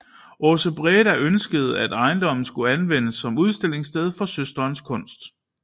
Aase Breda ønskede at ejendommen skulle anvendes som udstillingssted for søsterens kunst